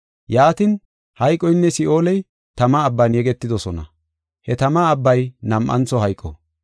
Yaatin, hayqoynne Si7ooley tama abban yegetidosona. He tama abbay nam7antho hayqo.